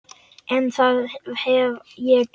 En það hef ég gert.